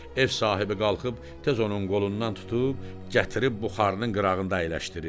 Ev sahibi qalxıb tez onun qolundan tutub gətirib buxarının qırağında əyləşdirir.